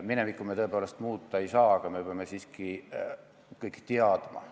Minevikku me tõepoolest muuta ei saa, aga me peame siiski seda kõik teadma.